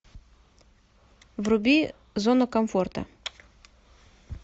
вруби зона комфорта